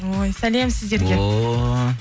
ой сәлем сіздерге ооо